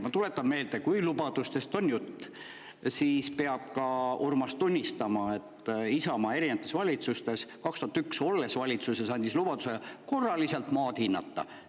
Ma tuletan meelde, et kui lubadustest on jutt, siis peab ka Urmas tunnistama, et Isamaa andis 2001. aastal, olles valitsuses, lubaduse maad korraliselt hinnata.